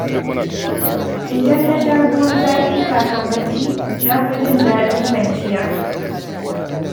Idan na sha ruwan zafi kafin bacci, na fi jin daɗin kwanciya.